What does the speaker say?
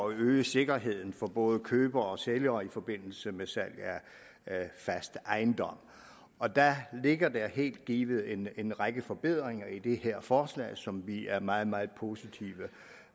øge sikkerheden for både køber og sælger i forbindelse med salg af fast ejendom og der ligger helt givet en en række forbedringer i det her forslag som vi er meget meget positive